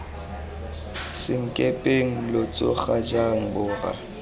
senkepeng lo tsoga jang borra